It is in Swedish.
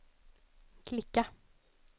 klicka